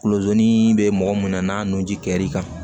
Kulodon bɛ mɔgɔ mun na n'a nun ji kɛr'i kan